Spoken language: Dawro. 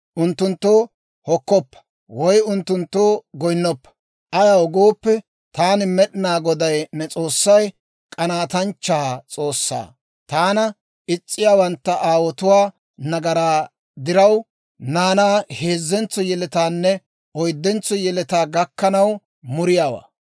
Unttunttoo hokkoppa woy unttunttoo goynnoppa. Ayaw gooppe, taani, Med'inaa Goday ne S'oossay k'anaatanchcha S'oossaa; taana is's'iyaawantta aawotuwaa nagaraa diraw, naanaa heezzentso yeletaanne oyddentso yeletaa gakkanaw muriyaawaa.